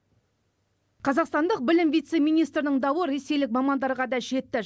қазақстандық білім вице министрінің дауы ресейлік мамандарға да жетті